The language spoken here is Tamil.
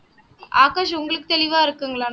ஆகாஷ் உங்களுக்கு தெளிவா இருக்குங்களா